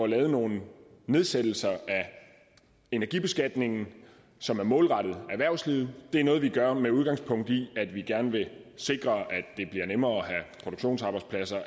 nogle nedsættelser af energibeskatningen som er målrettet erhvervslivet det er noget vi gør med udgangspunkt i at vi gerne vil sikre at det bliver nemmere at have produktionsarbejdspladser og